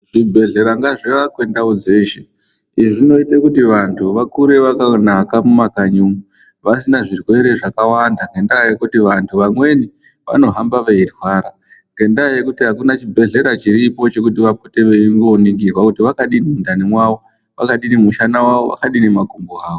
Zvibhedhlera ngazviakwe ndau dzeshe. Izvi zvinoite kuti vantu vakure vakanaka mumakanyi umu, vasina zvirwere zvakawanda ngendaa yekuti vantu vamweni vanohamba veirwara ngendaa yekuti hakuna chibhedhlera chiripo chekuti vapote veimboningirwa kuti mwakadini mundani mwawo, wakadini mushana wawo akadini makumbo awo.